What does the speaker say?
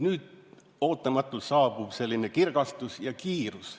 Nüüd ootamatult saabub selline kirgastus ja kiirus.